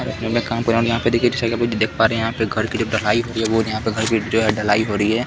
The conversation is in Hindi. जो मैं काम कर रहा हूँ और यहाँ पे देखिए जैसा कि आप देख पा रहे है यहाँ पे घर की जब ढलाई हो रही है रोज यहाँ पे घर की ढलाई हो रही है।